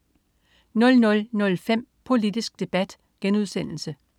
00.05 Politisk Debat*